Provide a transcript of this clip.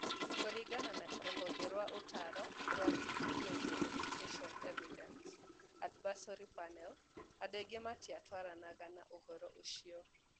Kũringana na rũhonge rwa ũtaaro rwa Global Education Evidence Advisory Panel, andũ aingĩ matiatwaranaga na mũtugo ũcio.